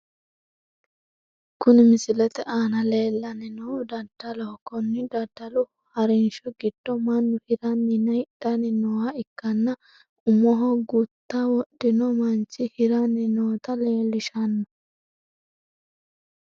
Kuni misilete aana leellanni noohu daddaloho konni daddalu harinsho giddo mannu hiranninna hidhanni nooha ikkanna umoho gutta wodhino manchi hiranni noota leellshshanno.